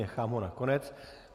Nechám ho na konec.